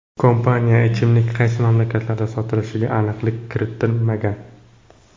Kompaniya ichimlik qaysi mamlakatlarda sotilishiga aniqlik kiritmagan.